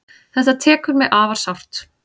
Þetta tekur mig afar sárt.